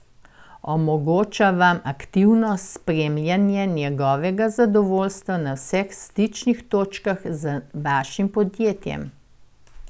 Omogoča vam aktivno spremljanje njihovega zadovoljstva na vseh stičnih točkah z vašim podjetjem.